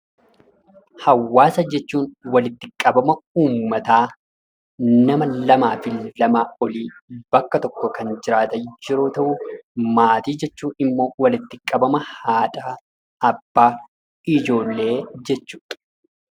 Hawwaasa jechuun walitti qabama ummataa, nama lamaa fi lamaa olii bakka tokko kan jiraatan yeroo ta'u, maatii jechuun immoo walitti qabama haadhaa, abbaa, ijoollee jechuu dha.